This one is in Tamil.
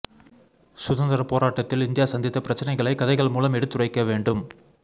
சுதந்திர போராட்டத்தில் இந்தியா சந்தித்த பிரச்னைகளை கதைகள் மூலம் எடுத்துரைக்க வேண்டும்